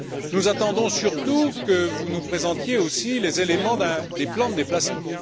Nous attendons surtout que vous nous présentiez aussi les éléments des plans de déplacement.